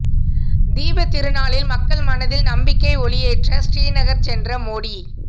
தீபத் திருநாளில் மக்கள் மனதில் நம்பிக்கை ஒளியேற்ற ஸ்ரீநகர் சென்ற மோடி